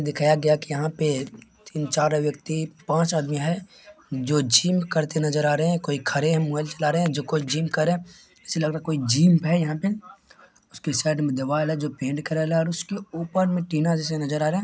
दिखाया गया है की यहाँ पे तीन चार व्यक्ति पांच आदमी है जो जिम करते नज़र आ रहे हैं कोई खड़े हैं मोबाइल चला रहे हैं | जिम कर रहे ऐसे लग रहा है कोई जिम है यहाँ पे उसके साइड मे दीवाल है जो पेंट कराया है उसके ऊपर मै टीना जैसा नज़र आ रहा है |